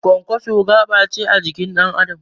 Kwankwaso gaɓace a jikin ɗan Adam